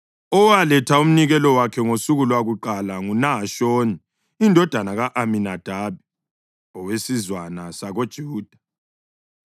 Owaletha umnikelo wakhe ngosuku lwakuqala nguNahashoni indodana ka-Aminadabi owesizwana sakoJuda.